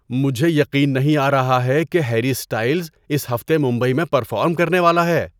مجھے یقین نہیں آ رہا ہے کہ ہیری اسٹائلز اس ہفتے ممبئی میں پرفارم کرنے والا ہے۔